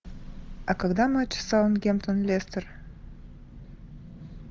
а когда матч саутгемптон лестер